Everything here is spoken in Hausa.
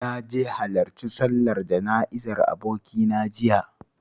Na je halarci sallar jana'izar abokina jiya